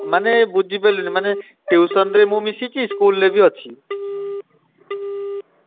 ମାନେ ବୁଝିପାଇଲୁନି ମାନେ tuition ରେ ମୁଁ ମିଶିଛି school ରେ ବି ଅଛି।